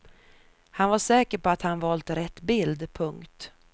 Han var säker på att han valt rätt bild. punkt